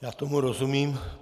Já tomu rozumím.